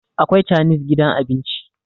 akwai chanis gidan abinci